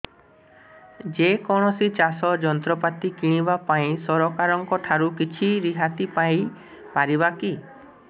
ଯେ କୌଣସି ଚାଷ ଯନ୍ତ୍ରପାତି କିଣିବା ପାଇଁ ସରକାରଙ୍କ ଠାରୁ କିଛି ରିହାତି ପାଇ ପାରିବା କି